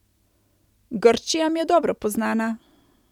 Grčija mi je dobro poznana.